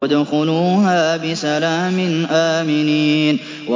ادْخُلُوهَا بِسَلَامٍ آمِنِينَ